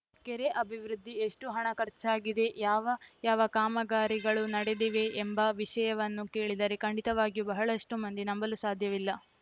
ಕೆರೆ ಅಭಿವೃದ್ಧಿ ಎಷ್ಟುಹಣ ಖರ್ಚಾಗಿದೆ ಯಾವ ಯಾವ ಕಾಮಗಾರಿಗಳು ನಡೆದಿವೆ ಎಂಬ ವಿಷಯವನ್ನು ಕೇಳಿದರೆ ಖಂಡಿತವಾಗಿಯೂ ಬಹಳಷ್ಟುಮಂದಿ ನಂಬಲು ಸಾಧ್ಯವಿಲ್ಲ